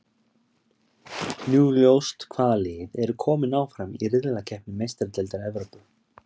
Nú er ljóst hvaða lið eru kominn áfram í riðlakeppni Meistaradeildar Evrópu.